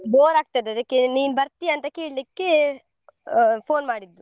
Bore ಆಗ್ತದೆ ಅದಕ್ಕೆ ನೀನ್ ಬರ್ತಿಯಂತ ಕೇಳಿಕ್ಕೆ phone ಮಾಡಿದ್ದು.